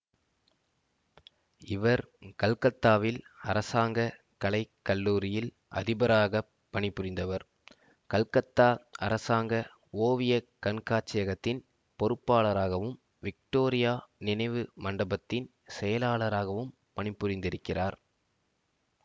இவர் கல்கத்தாவில் அரசாங்க கலை கல்லூரியில் அதிபராகப் பணிபுரிந்தவர் கல்கத்தா அரசாங்க ஓவிய கண்காட்சியகத்தின் பொறுப்பாளராகவும் விக்டோரியா நினைவு மண்டபத்தின் செயலாளராகவும் பணிபுரிந்திருக்கிறார்